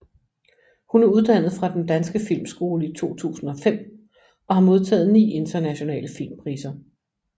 Hun er uddannet fra Den Danske Filmskole i 2005 og har modtaget ni internationale filmpriser